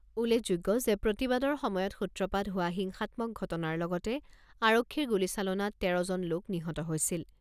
উল্লেখযোগ্য যে প্ৰতিবাদৰ সময়ত সূত্ৰপাত হোৱা হিংসাত্মক ঘটনাৰ লগতে আৰক্ষীৰ গুলীচালনাত তেৰজন লোক নিহত হৈছিল।